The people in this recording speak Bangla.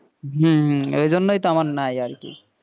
হম হম ওই জন্যই তো নাই আমার আরকি,